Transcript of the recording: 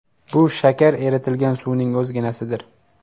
Bu shakar eritilgan suvning o‘zginasidir.